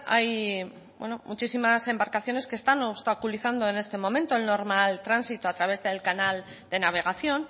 hay muchísimas embarcaciones que están obstaculizando en este momento el normal tránsito a través del canal de navegación